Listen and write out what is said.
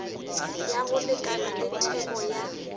ya go lekana theko ya